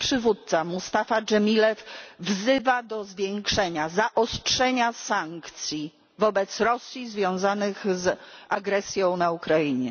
Ich przywódca Mustafa Dżemilew wzywa do zwiększenia, zaostrzenia sankcji wobec Rosji w związku z agresją na Ukrainie.